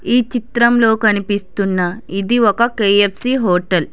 ఈ చిత్రంలో కనిపిస్తున్న ఇది ఒక కె_యఫ్_సి హోటల్ .